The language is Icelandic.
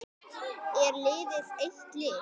Er liðið eitt lið?